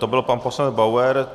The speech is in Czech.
To byl pan poslanec Bauer.